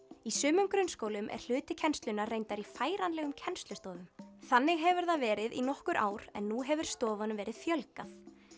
í sumum grunnskólum er hluti kennslunnar reyndar í færanlegum kennslustofum þannig hefur það verið í nokkur ár en nú hefur stofunum verið fjölgað